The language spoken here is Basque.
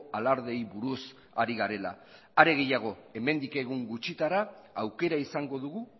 alardeei buruz ari garela are gehiago hemendik egun gutxitara aukera izango dugu